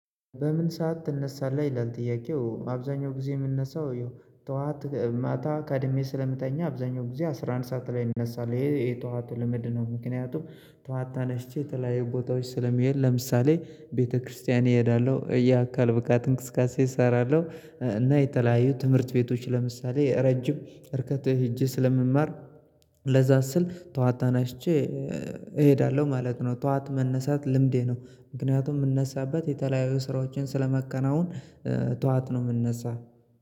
በምን ሰዓት ትነሳለህ ይላል ጥያቄው? አብዛኛው ጊዜ የምንነሳው ይኸው ጠዋት ማታ ቀድሜ ስለምታኘው አብዛኛው ጊዜ አስራ አንድ ሰዓት ላይ እነሳለው ይሄ የጠዋል ልማድ ነው። ምክንያቱም ተዋታ ነሽቼ የተለያዩ ቦታዎች ስለመሄድ ለምሳሌ ቤተክርስቲያን እሄዳለሁ የአካል ብቃት እንቅስቃሴ እሰራለሁ። እና የተለያዩ ትምህርት ቤቶች ለምሳሌ ረጅም እርቀት ሄጄ ስለምማር ለዛ ስል ጠዋት ተነስቼ እሄዳለሁ ማለት ነው። ጠዋት መነሳት ልምዴ ነው። ምክንያቱም የምነሳበት የተለያዩ ስራዎችን ስለማከናውን ጠዋት ነው የምንነሳ